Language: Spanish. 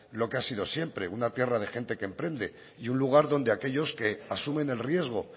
lo que ha sido siempre una tierra de gente que emprende y un lugar donde aquellos que asumen el riesgo